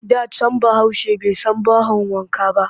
Da can Bahaushe bai san bahon wanka ba